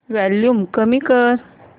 volume कमी कर